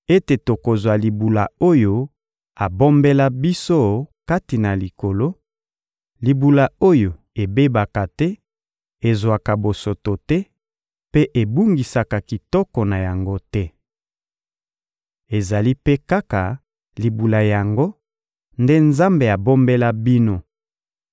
ete tokozwa libula oyo abombela biso kati na Likolo, libula oyo ebebaka te, ezwaka bosoto te, mpe ebungisaka kitoko na yango te. Ezali mpe kaka libula yango nde Nzambe abombela bino